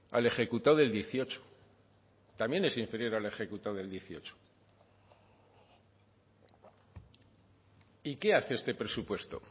al ejecutado del dieciocho también es inferior al ejecutado del dieciocho y qué hace este presupuesto